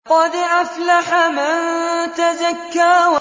قَدْ أَفْلَحَ مَن تَزَكَّىٰ